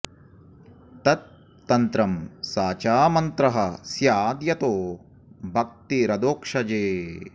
तत् तन्त्रं स च मन्त्रः स्याद् यतो भक्तिरधोक्षजे